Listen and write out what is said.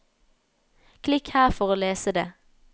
Klikk her for å lese det.